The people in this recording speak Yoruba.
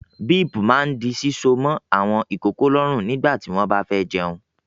Bíípù máà di síso mọ́ àwọn ìkókó lọ́rùn nígbà tí wọ́n bá fẹ́ jẹun.